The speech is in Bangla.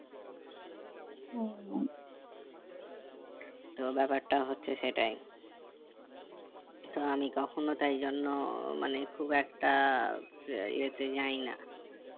তো ব্যাপারটা হচ্ছে সেটাই তো আমি কখনো তাই জন্য মানে খুব একটা এতে যাই না